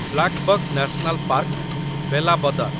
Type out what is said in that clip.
blackbuck National Park, Velavadar